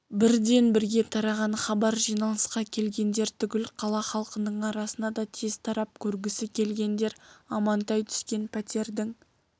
бірден бірге тараған хабар жиналысқа келгендер түгіл қала халқының арасына да тез тарап көргісі келгендер амантай түскен пәтердің